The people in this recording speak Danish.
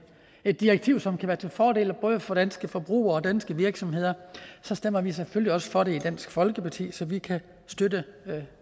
et direktiv som kan være til fordel både for danske forbrugere og danske virksomheder så stemmer vi selvfølgelig også for det i dansk folkeparti så vi kan støtte